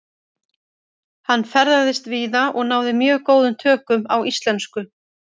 Hann ferðaðist víða og náði mjög góðum tökum á íslensku.